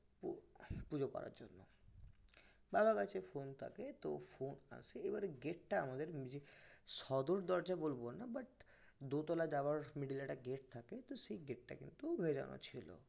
পুজো করার জন্য বাবার কাছে phone থাকে তো phone আসে এবারে gate টা আমাদের মানে সদর দরজা বলবো না দোতলা যাওয়ার middle এ একটা gate থাকে তো সেই gate টা কিন্তু ভেজানো ছিল